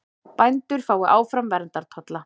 Bændur fái áfram verndartolla